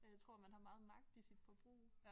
Og jeg tror man har meget magt i sit forbrug